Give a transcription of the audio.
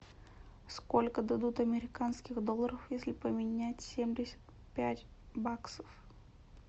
сколько дадут американских долларов если поменять семьдесят пять баксов